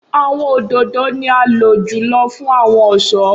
Awọn ododo ni a lo julọ fun awọn ọṣọ.